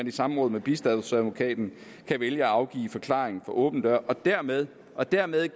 i samråd med bistandsadvokaten kan vælge at afgive forklaring for åbne døre og dermed og dermed